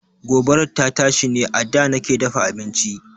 Gobarar ta tashi ne a da nake dafa abinci.